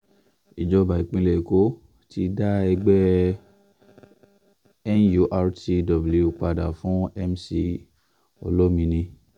ìjọba ìpínlẹ̀ èkó ti dá ẹgbẹ́ nurtw padà fún mc olomini